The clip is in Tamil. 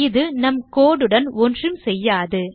இது நம் code உடன் ஒன்றும் செய்யாது